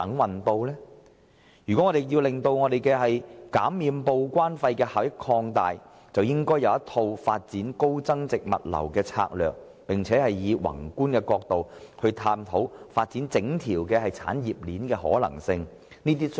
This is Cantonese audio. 為了擴大減收報關費的效益，政府其實制訂有一套發展高增值物流業的策略，並從宏觀的角度探討發展整條產業鏈的可行性。